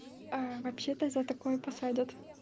а вообще-то за такое посадят